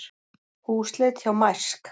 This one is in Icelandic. Húsleit hjá Mærsk